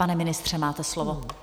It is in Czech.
Pane ministře, máte slovo.